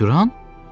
Misye Turan?